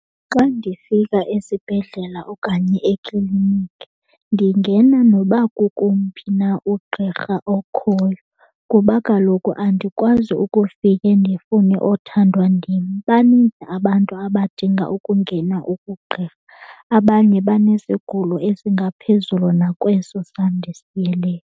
Xa ndifika esibhedlela okanye ekliniki ndingena noba kukomphi na ugqirha okhoyo kuba kaloku andikwazi ukufike ndifune othandwa ndim. Baninzi abantu abadinga ukungena kugqirha, abanye banesigulo esingaphezulu nakweso sam ndisiyeleyo.